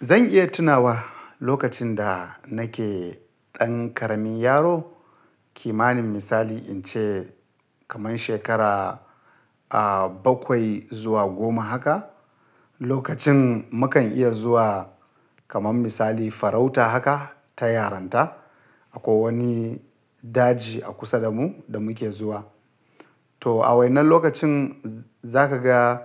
Zan iya tunawa lokacin da nake ɗan ƙaramin yaro, kimanin misali in ce kaman shekara, ah, bakwai zuwa goma haka. Zan iya tunawa lokacin da nake ɗan ƙaramin yaro, kimanin misali in ce kaman shekara, ah, bakwai zuwa goma haka. To a wainnan lokacin za ka ga,